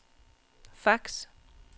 fax